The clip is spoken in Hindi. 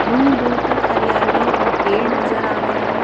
दूर दूर तक हरियाली और पेड़ नजर आ रहे हैं।